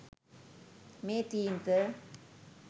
මේ තීන්ත